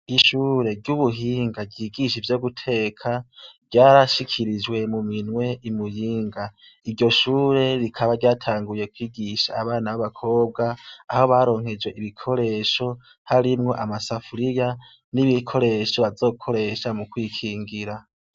ishure ry'ubuhinga ryigisha ivyo guteka ryarashikirijwe mu minwe i muyinga iryo shure rikaba ryatanguye kwigisha abana b'abakobwa aho baronkejwe ibikoresho harimwo amasafuriya n'ibikoresho bazokoresha mu kwikingira